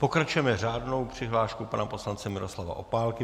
Pokračujeme řádnou přihláškou pana poslance Miroslava Opálky.